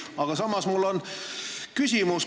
Aga samas on mul küsimus.